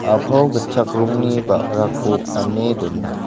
a·pao gitchak rongni ba·rako ane dona.